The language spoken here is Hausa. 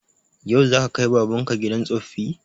Yau za ka kai baban ka gidan tsoffi?